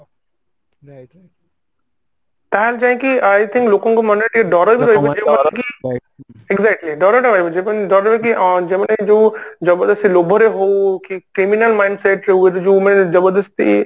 ତାହେଲେ ଯାଇଁକି ଲୋକଙ୍କ ମନରେ ଟିକେ ଡର ବି କି exactly ଡର ଟା ରହିବ ଯୋଉଟା କି ଡରରେ କି ଅ ଯୋଉମାନେ ଯୋଉ ଜବରଦସ୍ତି ଲୋଭରେ ହଉ କି criminal mindset ରେ ହଉ ଯୋଉ ମାନେ ଜବରଦସ୍ତି